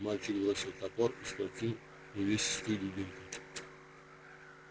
мальчик бросил топор и схватил увесистую дубинку